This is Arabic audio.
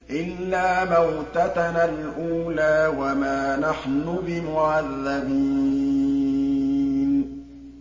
إِلَّا مَوْتَتَنَا الْأُولَىٰ وَمَا نَحْنُ بِمُعَذَّبِينَ